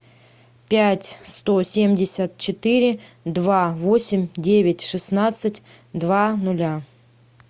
пять сто семьдесят четыре два восемь девять шестнадцать два ноля